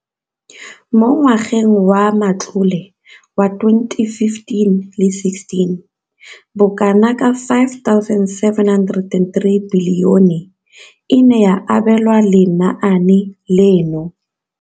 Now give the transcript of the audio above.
Mo ngwageng wa matlole wa 2015,16, bokanaka R5 703 bilione e ne ya abelwa lenaane leno.